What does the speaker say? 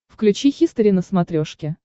включи хистори на смотрешке